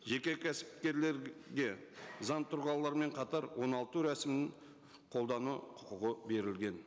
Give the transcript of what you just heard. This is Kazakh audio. жеке кәсіпкерлерге заң тұлғалармен қатар оңалту рәсімін қолдану құқығы берілген